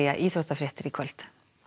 íþróttafréttir í kvöld